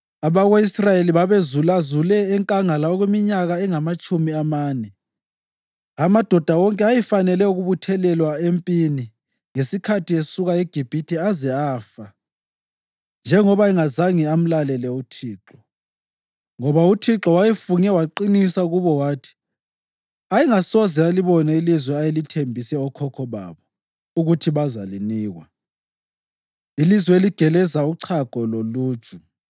Abako-Israyeli babezulazule enkangala okweminyaka engamatshumi amane, amadoda wonke ayefanele ukubuthelwa empini ngesikhathi esuka eGibhithe aze afa, njengoba engazange amlalele uThixo. Ngoba uThixo wayefunge waqinisa kubo wathi ayengasoze alibone ilizwe ayelithembise okhokho babo ukuthi bazalinikwa, ilizwe eligeleza uchago loluju.